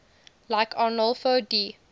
like arnolfo di